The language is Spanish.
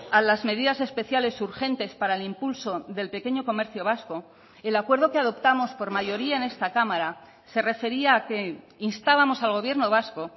a las medidas especiales urgentes para el impulso del pequeño comercio vasco el acuerdo que adoptamos por mayoría en esta cámara se refería a que instábamos al gobierno vasco